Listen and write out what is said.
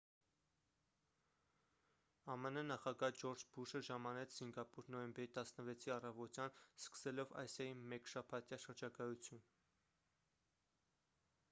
ամն նախագահ ջորջ ու բուշը ժամանեց սինգապուր նոյեմբերի 16-ի առավոտյան սկսելով ասիայի մեկշաբաթյա շրջագայություն